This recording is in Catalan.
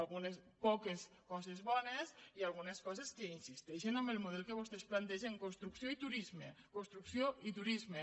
algunes poques coses bones i algunes coses que insisteixen en el model que vostès plantegen construcció i turisme construcció i turisme